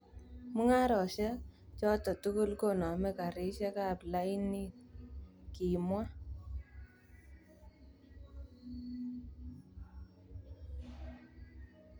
Mungarosiek choto tugul koname karisiek ab lainit", kimwa.